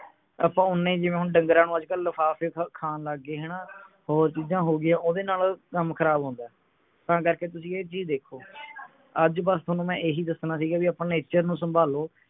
ਆਪਾਂ ਓੰਨਾ ਹੀ ਜਿਵੇਂ ਢੰਗਰਾਂ ਨੂੰ ਹੁਣ ਅੱਜਕਲ ਲਿਫਾਫੇ ਖਾਣ ਲੱਗ ਗਏ ਹਣਾ ਹੋਰ ਚੀਜਾਂ ਹੋ ਗਿਆ ਓਹਦੇ ਨਾਲ ਕੰਮ ਖਰਾਬ ਹੁੰਦੇ ਤਾਂ ਕਰਕੇ ਤੁਸੀਂ ਇਹ ਚੀਜ ਦੇਖੋ ਅੱਜ ਬੱਸ ਥੋਨੂੰ ਮੈਂ ਇਹੀ ਦਸਣਾ ਸੀਗਾ ਵੀ ਆਪਾਂ nature ਨੂੰ ਸੰਭਾਲੋ